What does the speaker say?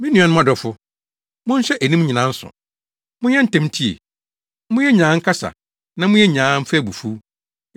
Me nuanom adɔfo, monhyɛ eyinom nsow: monyɛ ntɛm ntie, monyɛ nyaa nkasa na monyɛ nyaa mfa abufuw;